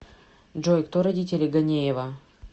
джой кто родители ганеева